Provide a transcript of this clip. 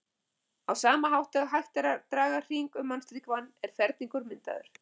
Á sama hátt og hægt er að draga hring um mannslíkamann er ferningur myndaður.